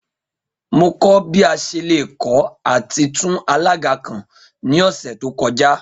Mo kọ bi a ṣe le kọ ati tun alaga kan ni ọsẹ to kọja